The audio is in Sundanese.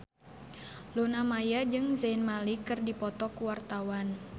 Luna Maya jeung Zayn Malik keur dipoto ku wartawan